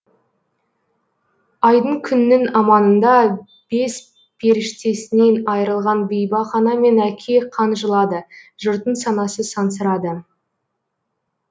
айдың күннің аманында бес періштесінен айырылған бейбақ ана мен әке қан жылады жұрттың санасы сансырады